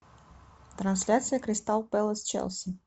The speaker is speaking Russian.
трансляция кристал пэлас челси